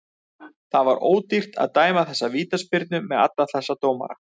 Það var ódýrt að dæma þessa vítaspyrnu með alla þessa dómara.